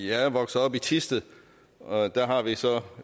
er vokset op i thisted og der har vi så